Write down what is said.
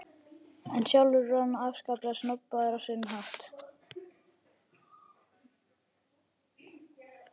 En sjálfur var hann afskaplega snobbaður- á sinn hátt.